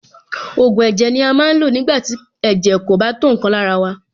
Ògùn ẹ̀jẹ̀ ni a máa ń lò nígbà tí ẹ̀jẹ̀ kò bá tó nǹkan lára wa.